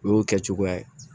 O y'o kɛ cogoya ye